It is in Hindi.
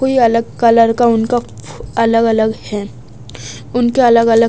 कोई अलग कलर का उनका फु अलग अलग है उनके अलग अलग--